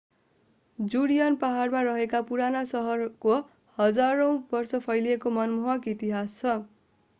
Judean पहाडमा रहेको पुरानो सहरको हजारौं वर्ष फैलिएको मनमोहक इतिहास छ